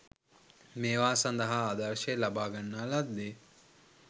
මේවා සඳහා ආදර්ශය ලබාගන්නා ලද්දේ